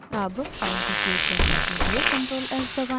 अब फाइल को सेव करने के लिए ctrl+s दबाएं